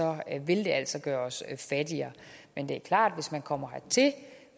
vil det altså gøre os fattigere men det er klart at hvis man kommer hertil